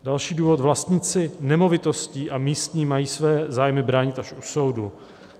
Další důvod: "Vlastníci nemovitostí a místní mají své zájmy bránit až u soudu.